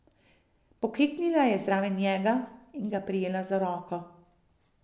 Pokleknila je zraven njega in ga prijela za roko.